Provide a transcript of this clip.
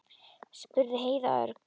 spurði Heiða örg.